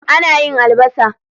Ana yin albasa.